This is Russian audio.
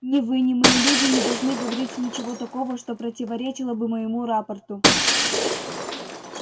ни вы ни мои люди не должны говорить ничего такого что противоречило бы моему рапорту